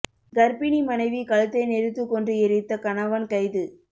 கர்ப்பிணி மனைவி கழுத்தை நெரித்து கொன்று எரித்த கணவன் கைது